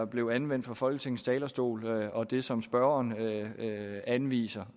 blev anvendt fra folketingets talerstol og det som spørgeren anviser